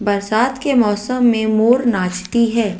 बरसात के मौसम में मोर नाचती है।